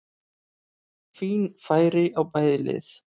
Fín færi á bæði lið!